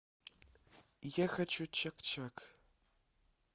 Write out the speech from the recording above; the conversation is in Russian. я хочу чак чак